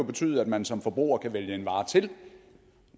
betyde at man som forbruger kan vælge en vare til